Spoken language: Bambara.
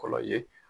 Kɔlɔlɔ ye